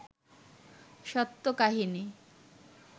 সত্য কাহিনী